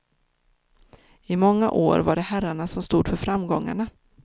I många år var det herrarna som stod för framgångarna.